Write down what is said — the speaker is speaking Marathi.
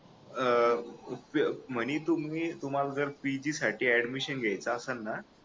अह म्हणे तुम्ही तुम्हाला जर PG साठी ऍडमिशन घ्यायचं असल ना